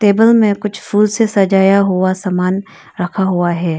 Table में कुछ फूल से सजाया हुआ सामान रखा हुआ है।